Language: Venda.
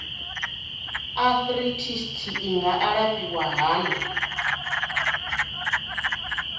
arthritis i nga alafhiwa hani